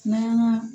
N'an y'an ka